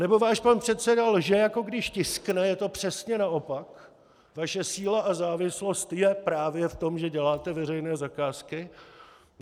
Anebo váš pan předseda lže, jako když tiskne, je to přesně naopak, vaše síla a závislost je právě v tom, že děláte veřejné zakázky.